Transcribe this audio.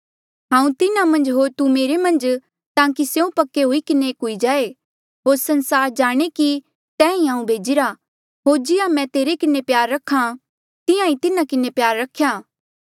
हांऊँ तिन्हा मन्झ होर तू मेरे मन्झ ताकि स्यों पक्के हुई किन्हें एक हुई जाए होर संसार जाणे कि तैं ईं हांऊँ भेजिरा होर जिहां तैं मेरे किन्हें प्यार रख्या तिहां ईं तिन्हा किन्हें प्यार रख्या